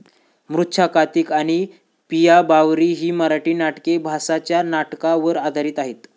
मृछाकातिक आणि पिया बावरी ही मराठी नाटके भासाच्या नाटका वर आधारित आहेत.